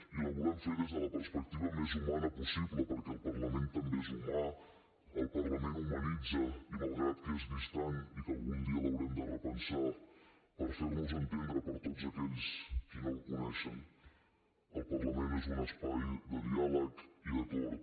i ho volem fer des de la perspectiva més humana possible perquè el parlament també és humà el parlament humanitza i malgrat que és distant i que algun dia l’haurem de repensar per fer nos entendre per tots aquells qui no el coneixen el parlament és un espai de diàleg i d’acord